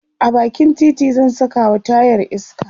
a bakin titi zan Saka wa tayar iska